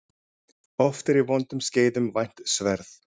Oft er í vondum skeiðum vænt sverð.